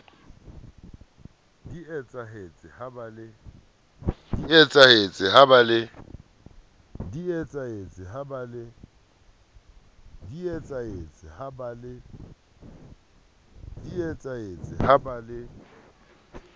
di etsahetse ha ba le